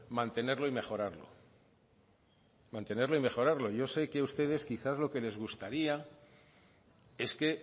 mantenerlo y mejorarlo mantenerlo y mejorarlo yo sé que ustedes quizás lo que les gustaría es que